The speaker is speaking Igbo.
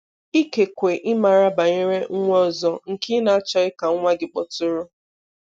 Ikekwe ị maara banyere nwa ọzọ nke ị na-achọghị ka nwa gị kpọtụrụ.